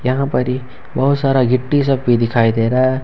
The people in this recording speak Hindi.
यहां पर ही बहुत सारा गिट्टी सब भी दिखाई दे रहा है।